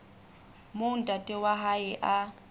moo ntate wa hae a